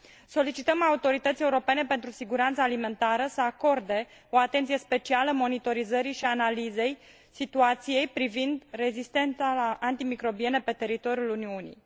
Solicităm Autorității Europene pentru Siguranța Alimentară să acorde o atenție specială monitorizării și analizei situației privind rezistența la antimicrobiene pe teritoriul Uniunii.